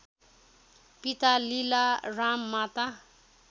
पिता लीलाराम माता